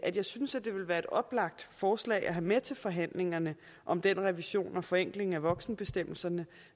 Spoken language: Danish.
at jeg synes at det ville være et oplagt forslag at have med til forhandlingerne om den revision og forenkling af voksenbestemmelserne